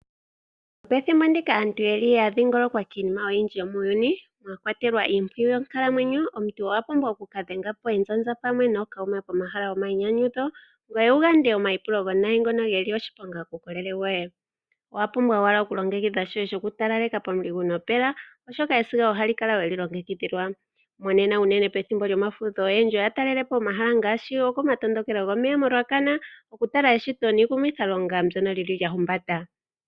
Pethimbo ndika aantu ya dhingolokwa kiinima oyindji yomuuyuni, mwa kwatelwa iimpwiyu yonkalamwenyo, omuntu owa pumbwa oku ka dhenga po ezaza pamwe nookuume pomahala gomayinyanyudho, ngoye wu gande omaipulo omawinayi ngono ge li oshiponga kuukolele woye. Owa pumbwa owala okulongekidha shoye shokutalaleka pomuligu nopela, oshoka esiga oho kala we li longekidhilwa. Monena unene pethimbo lyomafudho ohaya talele po ehala ngaashi komatondokelo gomeya koRuacana, okutala eshito niikumithalonga mbyono lya humbata.